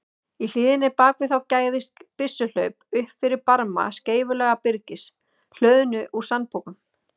Í hlíðinni bak við þá gægðist byssuhlaup upp fyrir barma skeifulaga byrgis, hlöðnu úr sandpokum.